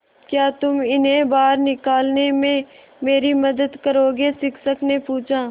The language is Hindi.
क्या तुम इन्हें बाहर निकालने में मेरी मदद करोगे शिक्षक ने पूछा